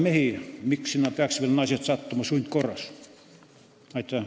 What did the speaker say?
Miks peaks sinna veel naised sundkorras sattuma?